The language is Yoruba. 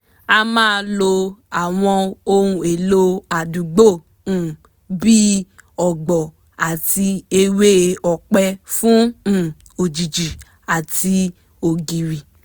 a máa lo àwọn ohun èlò àdúgbò um bí ọ̀gbọ̀ àti ewé ọ̀pẹ fún um òjìji àti ògiri